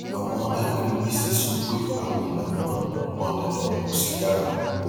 àwọn alárìíwísí sọ pé àwọn ìlànà náà kò pọn dandan kò sì dára